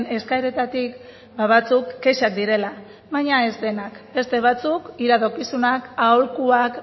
eskaeretatik batzuk kexak direla baina ez denak beste batzuk iradokizunak aholkuak